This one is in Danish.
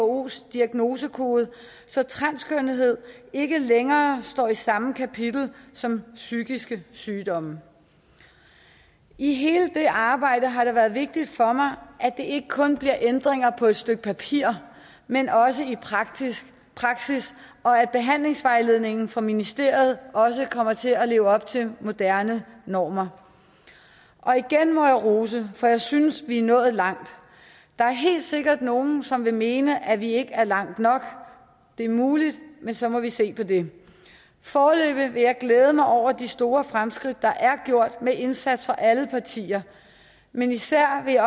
whos diagnosekode så transkønnethed ikke længere står i samme kapitel som psykiske sygdomme i hele det arbejde har det været vigtigt for mig at det ikke kun bliver ændringer på et stykke papir men også i praksis og at behandlingsvejledningen fra ministeriet også kommer til at leve op til moderne normer og igen må jeg rose for jeg synes vi er nået langt der er helt sikkert nogle som vil mene at vi ikke er langt nok det er muligt men så må vi se på det foreløbig vil jeg glæde mig over de store fremskridt der er gjort med en indsats fra alle partier men især vil